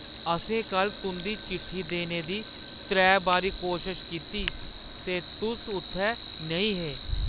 असें कल्ल तुंʼदी चिट्ठी देने दी त्रै बारी कोशश कीती ते तुस उत्थै नेईं हे ।